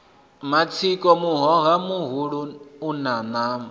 matsiko muhoha muhulua una nama